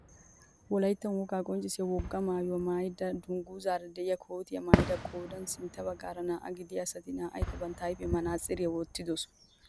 Wolaytta wogaa qonccisiyaa wogaa maayuwaa woykko duguzaara de'iyaa kootiyaa maayida qoodan sintta baggaara naa"aa gidiyaa asati naa"ayikka bantta ayfiyaan manaatsiriyaa wottidosona.